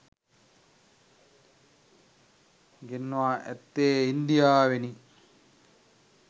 ගෙන්වා ඇත්තේ ඉන්දියාවෙනි.